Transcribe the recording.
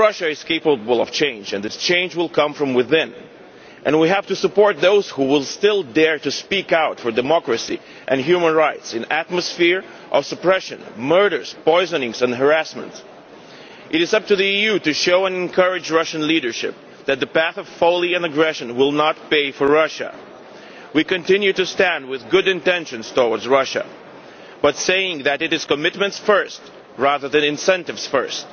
Therefore Russia is capable of change, and that change will come from within. We have to support those who still dare to speak out for democracy and human rights in an atmosphere of suppression, murders, poisonings and harassment. It is up to the EU to show and encourage the Russian leadership that the path of folly and aggression will not pay for Russia. We continue to stand with good intentions towards Russia but saying that, it is commitments first rather than incentives